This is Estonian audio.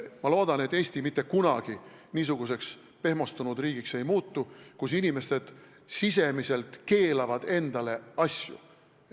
Ma loodan, et Eesti ei muutu mitte kunagi niisuguseks pehmostunud riigiks, kus inimesed ise sisemiselt endale mingeid asju keelavad.